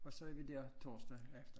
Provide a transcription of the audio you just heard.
Og så er vi der torsdag efter